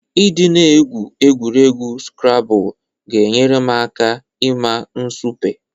Ị dị na-egwu egwuregwu skrabụl ga-enyere m aka ịma nsupe.